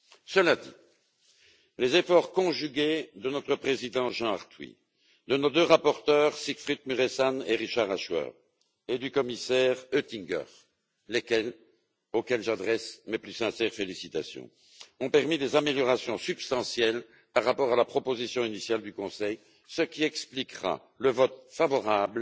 Cela dit, les efforts conjugués de notre président, Jean Arthuis, de nos deux rapporteurs, Siegfried Mureşan et Richard Ashworth, et du commissaire Oettinger, auxquels j'adresse mes plus sincères félicitations, ont permis des améliorations substantielles par rapport à la proposition initiale du Conseil, ce qui expliquera le vote favorable